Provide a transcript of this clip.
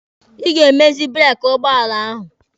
Ị ga-emezi breeki ụgbọala ahụ.